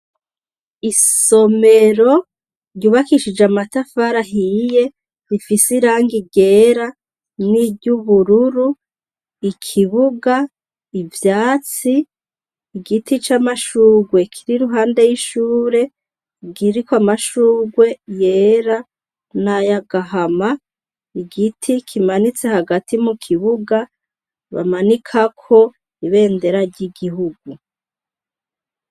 Isomero ryubakishije amatafara ahiye rifise irange igera n'iryoubururu ikibuga ivyatsi igiti c'amashurwe kiri ruhande y'ishure giriko amashurwe yera nayagaa ahama igiti kimanitse hagati mu kibuga bamanikako ibendera ry'igihugu.